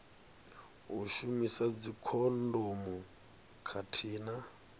u shumisa dzikhondomu khathihi na